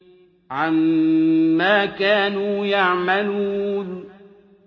عَمَّا كَانُوا يَعْمَلُونَ